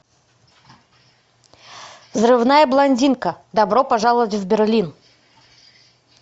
взрывная блондинка добро пожаловать в берлин